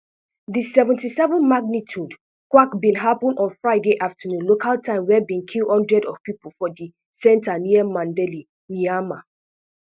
di seventy-seven magnitude quak bin happun on friday afternoon local time wey bin kill hundred of pipo for di centre near mandalay myanmar